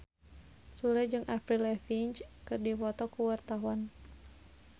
Sule jeung Avril Lavigne keur dipoto ku wartawan